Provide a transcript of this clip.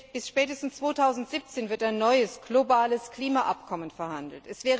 Bis spätestens 2017 wird ein neues globales Klimaabkommen verhandelt.